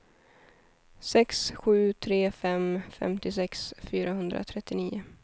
sex sju tre fem femtiosex fyrahundratrettionio